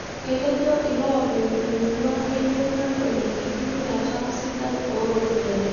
Ketejo iloopeny' emurua keyieu nedol enkitumiata sidai ooropiyiani